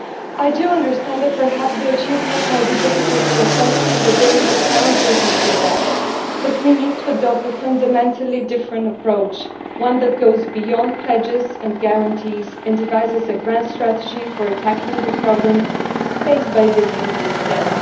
I do understand that perhaps the achievements might be difficult to assess and that there is a sound reason for that, but we need to adopt a fundamentally different approach, one that goes beyond pledges and guarantees and devises a grand strategy for tackling the problems faced by youth instead.